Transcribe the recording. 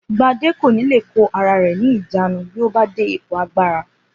Gbadé kò ní lè kó ara rè̩ ní ìjánu bí ó bá dé ipò agbára